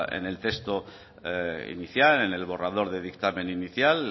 en el texto inicial en el borrador de dictamen inicial